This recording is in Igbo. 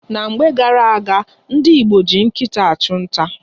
Na mgbe gara-aga, ndị Igbo ji nkịta achụ nta.